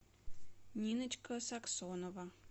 ниночка саксонова